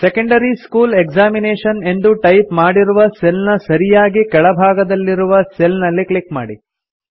secondary school examination ಎಂದು type ಮಾಡಿರುವ cell ನ ಸರಿಯಾಗಿ ಕೆಳಭಾಗದಲ್ಲಿರುವ ಸೆಲ್ ನಲ್ಲಿ ಕ್ಲಿಕ್ ಮಾಡಿ